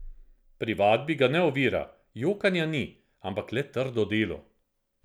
Pri vadbi ga ne ovira, jokanja ni, ampak le trdo delo.